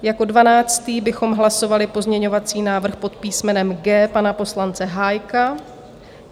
Jako dvanáctý bychom hlasovali pozměňovací návrh pod písmenem G pana poslance Hájka.